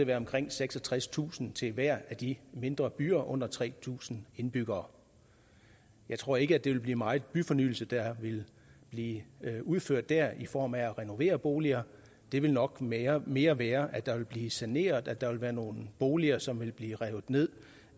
være omkring seksogtredstusind kroner til hver af de mindre byer med under tre tusind indbyggere jeg tror ikke at det vil blive meget byfornyelse der vil blive udført der i form af at renovere boliger det vil nok mere mere være at der vil blive saneret og at der vil være nogle boliger som vil blive revet ned